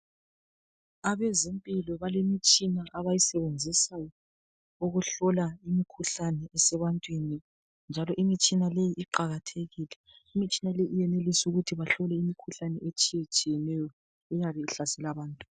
Abezimpilo balemitshina abayisebenzisa ukuhlola imikhuhlane esebantwini njalo imitshina leyi iqakathekile. Imitshina le iyenelisa ukuthi bahlole imikhuhlane etshiyetshiyeneyo eyabe ihlasela abantu.